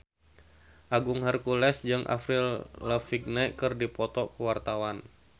Agung Hercules jeung Avril Lavigne keur dipoto ku wartawan